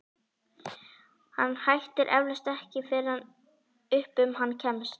Hann hættir eflaust ekki fyrr en upp um hann kemst.